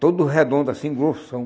Todo redondo, assim, grossão.